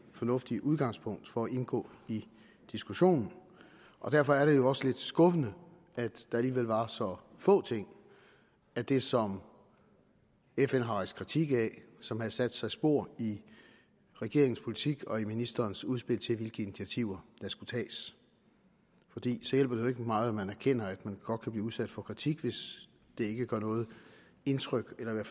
fornuftigt udgangspunkt for at indgå i diskussionen og derfor er det jo også lidt skuffende at der alligevel var så få ting af det som fn har rejst kritik af som havde sat sig spor i regeringens politik og i ministerens udspil til hvilke initiativer der skulle tages for det hjælper jo ikke meget at man erkender at man godt kan blive udsat for kritik hvis det ikke gør noget indtryk eller